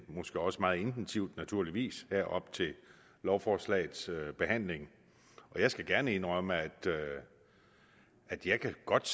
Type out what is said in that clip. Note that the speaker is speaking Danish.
måske også meget intensivt naturligvis her op til lovforslagets behandling jeg skal gerne indrømme at jeg godt